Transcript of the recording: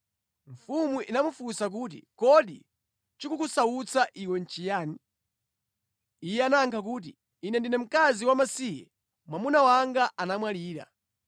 Mfumu inamufunsa kuti, “Kodi chikukusautsa iwe nʼchiyani?” Iye anayankha kuti, “Ine ndine mkazi wamasiye, mwamuna wanga anamwalira.